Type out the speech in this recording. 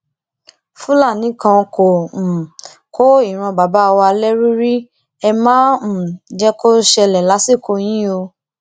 fúlàní kan kò um kó ìran bàbá wa lẹrú rí ẹ má um jẹ kó ṣẹlẹ lásìkò yìí o